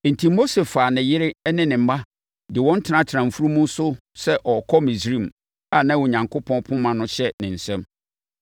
Enti, Mose faa ne yere ne ne mma de wɔn tenatenaa mfunumu so sɛ ɔrekɔ Misraim a na Onyankopɔn poma no hyɛ ne nsam.